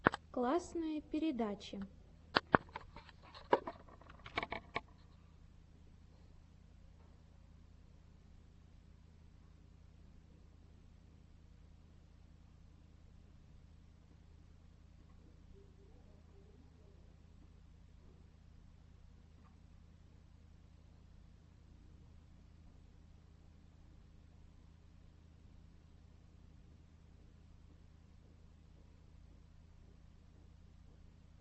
классные передачи